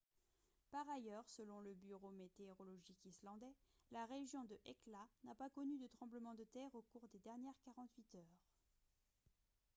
par ailleurs selon le bureau météorologique islandais la région de hekla n'a pas connu de tremblement de terre au cours des dernières 48 heures